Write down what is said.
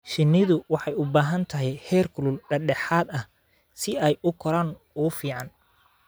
Shinnidu waxay u baahan tahay heerkul dhexdhexaad ah si ay u koraan ugu fiican.